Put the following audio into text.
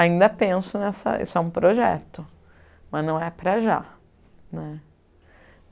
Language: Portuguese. Ainda penso nessa... Isso é um projeto, mas não é para já né.